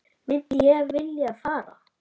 Myndi ég vilja fara?